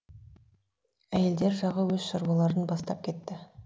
әйелдер жағы өз шаруаларын бастап кетті